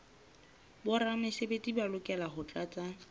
boramesebetsi ba lokela ho tlatsa